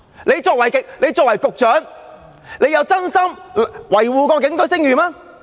他作為局長，有否真心維護警隊的聲譽嗎？